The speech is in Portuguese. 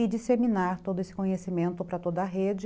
E disseminar todo esse conhecimento para toda a rede,